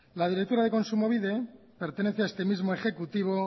la directora de kontsumobide pertenece a este mismo ejecutivo